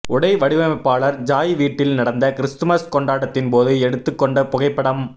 உடை வடிவமைப்பாளர் ஜாய் வீட்டில் நடந்த கிறிஸ்துமஸ் கொண்டாட்டத்தின் போது எடுத்து கொண்ட புகைப்படம்